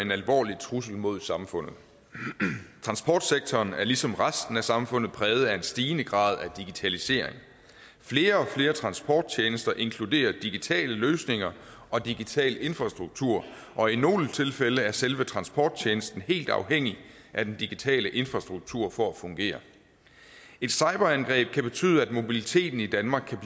en alvorlig trussel mod samfundet transportsektoren er ligesom resten af samfundet præget af en stigende grad af digitalisering flere og flere transporttjenester inkluderer digitale løsninger og digital infrastruktur og i nogle tilfælde er selve transporttjenesten helt afhængig af den digitale infrastruktur for at fungere et cyberangreb kan betyde at mobiliteten i danmark